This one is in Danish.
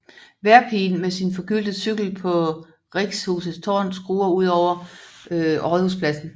Vejrpigen med sin forgyldte cykel på Richshusets tårn skuer ud over Rådhuspladsen